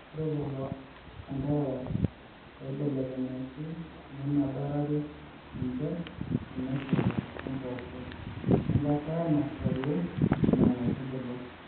Ore lelo anterera ooibelekenyaki nemedarari ninche teneshula o mpoosho enkata nashali Nena aitubulu